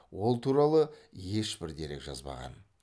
ол туралы ешбір дерек жазбаған